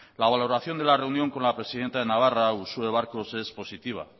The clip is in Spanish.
la valoración de la reunión con la presidenta de navarra uxue barkos es positiva